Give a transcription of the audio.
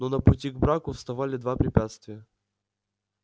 но на пути к браку вставали два препятствия